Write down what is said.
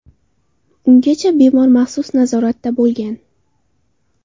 Ungacha bemor maxsus nazoratda bo‘lgan.